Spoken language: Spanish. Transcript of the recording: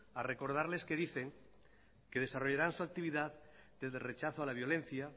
a recordarles que dicen que desarrollarán su actividad desde rechazo a la violencia